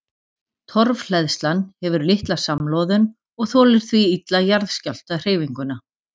Torfhleðslan hefur litla samloðun og þolir því illa jarðskjálftahreyfinguna.